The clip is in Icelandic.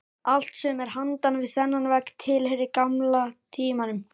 Allt sem er handan við þennan vegg tilheyrir gamla tímanum.